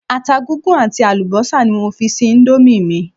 Ata gúngún àti àlùbọ́sà ni mo fi sí íńdómì mi.